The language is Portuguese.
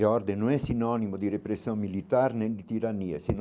E ordem não é sinônimo de repressão militar nem de tirania é